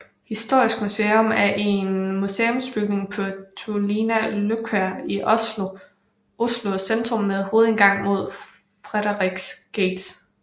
Historisk museum er en museumsbygning på Tullinløkka i Oslo centrum med hovedindgangen mod Frederiks gate